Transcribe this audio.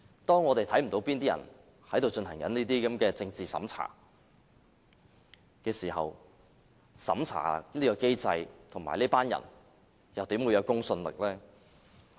當我們看不到哪些人正在進行這些政治審查時，審查機制和這些人又怎會具公信力呢？